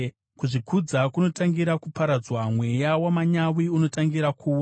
Kuzvikudza kunotangira kuparadzwa, mweya wamanyawi unotangira kuwa.